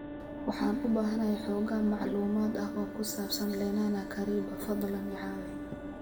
Waxaan u baahanahay xoogaa macluumaad ah oo ku saabsan lenana kariba fadlan i caawi